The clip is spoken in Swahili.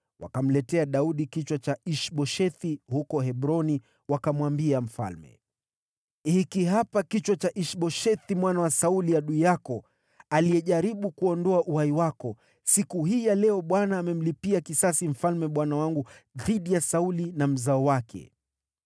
Wakamletea Daudi kichwa cha Ish-Boshethi huko Hebroni, wakamwambia mfalme, “Hiki hapa kichwa cha Ish-Boshethi mwana wa Sauli, adui yako, aliyejaribu kuondoa uhai wako. Siku hii ya leo Bwana amemlipia kisasi mfalme bwana wangu dhidi ya Sauli na mzao wake.”